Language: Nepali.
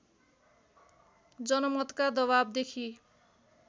जनमतका दबावदेखि